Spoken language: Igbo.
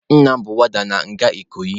Nna m bụ wọọda na nga Ikoyi.